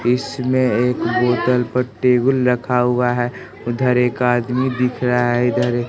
इसमें एक होटल पर टेबुल रखा हुआ है उधर एक आदमी दिख रहा है इधर ए--